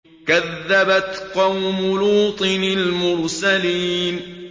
كَذَّبَتْ قَوْمُ لُوطٍ الْمُرْسَلِينَ